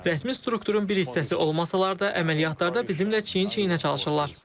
Rəsmi strukturun bir hissəsi olmasalar da, əməliyyatlarda bizimlə çiyin-çiyinə çalışırlar.